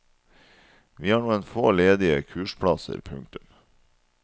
Vi har noen få ledige kursplasser. punktum